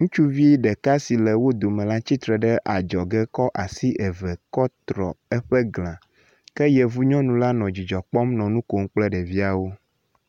Ŋutsuvi ɖeka si le wo dome la tsitre ɖe adzɔge kɔ asi eve kɔ trɔ eƒe gla ke yevu nyɔnu la nɔ dzidzɔ kpɔm nɔ mu kom kple ɖeviawo.